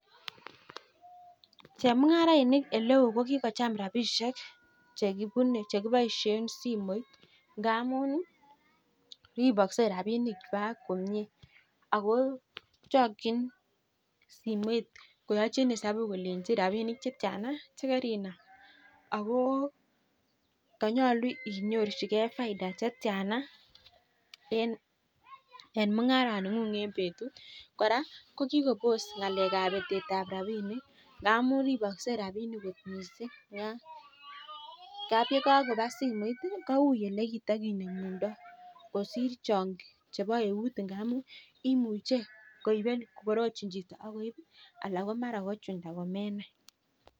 Chemungarainik eng oleoo ko kikocham rabishek chekibaishei simoit ngamuu chakchin simoit kolenji rabishek chetya chekaibaishei ak chekainyoruu